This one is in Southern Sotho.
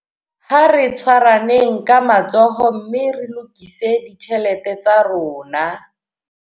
Ha re tshwaraneng ka matsoho mme re lokise ditjhelete tsa rona.